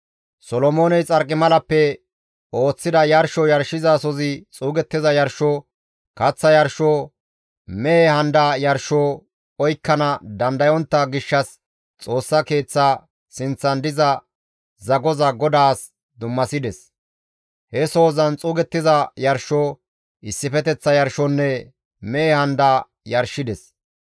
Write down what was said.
Solomooney xarqimalappe ooththida yarsho yarshizasozi xuugettiza yarsho, kaththa yarsho, mehe handa yarsho oykkana dandayontta gishshas Xoossa Keeththa sinththan diza zagoza GODAAS dummasides; he sohozan xuugettiza yarsho, issifeteththa yarshonne mehe handa yarshides.